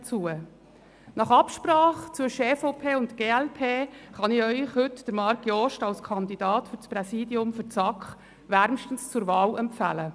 Nach Absprache zwischen der EVP und der glp kann ich Ihnen heute Marc Jost als Kandidaten für das Präsidium der SAK wärmstens zur Wahl empfehlen.